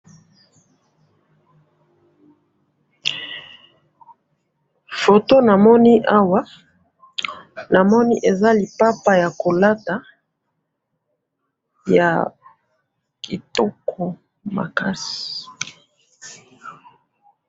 photo na moni awa na moni eza lipapa ya kolate ya kitoko makasi